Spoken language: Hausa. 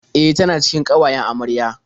E, tana cikin ƙawayen amarya.